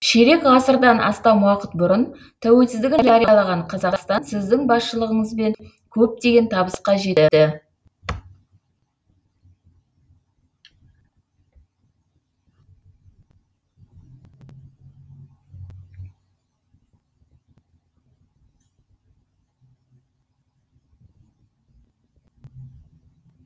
ширек ғасырдан астам уақыт бұрын тәуелсіздігін жариялаған қазақстан сіздің басшылығыңызбен көптеген табысқа жетті